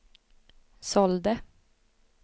sålde